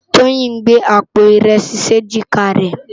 Toyin n gbé ápó irèsi si éjiká rè